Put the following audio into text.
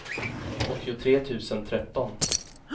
åttiotre tusen tretton